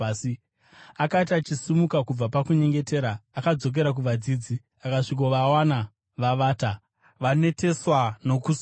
Akati achisimuka kubva pakunyengetera, akadzokera kuvadzidzi, akasvikovawana vavata, vaneteswa nokusuwa.